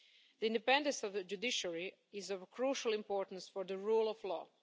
The independence of the judiciary is of crucial importance for the rule of law.